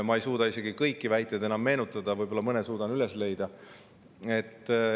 Ma ei suuda isegi kõiki väiteid enam meenutada, võib-olla mõne suudan üles leida.